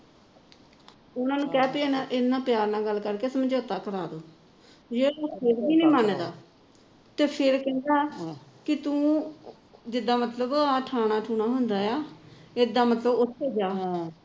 ਉਹਨਾ ਨੂੰ ਕਹਿ ਇਹਨਾ ਨਾਲ ਪਿਆਰ ਨਾਲ ਗੱਲ ਕਰਕੇ ਸਮਝੋਤਾ ਕਰਾ ਦੋ ਜਾ ਫੇਰ ਵੀ ਨਹੀ ਮੰਨਦਾ ਤੇ ਫੇਰ ਕਹਿੰਦਾ ਵੀ ਤੂੰ ਜਿਦਾ ਮਤਲਬ ਇਹ ਛਾਣਾ ਛੁਹਣਾ ਹੁੰਦਾ ਏ ਇਦਾ ਮਤਲਬ ਉੱਥੇ ਜਾ